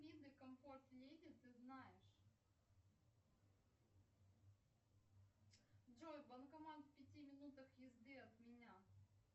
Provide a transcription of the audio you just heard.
виды комфорт леди ты знаешь джой банкомат в пяти минутах езды от меня